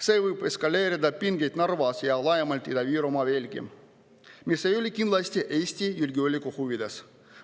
See võib eskaleerida pingeid Narvas ja laiemalt Ida-Virumaal veelgi, mis ei ole kindlasti Eesti julgeoleku huvides.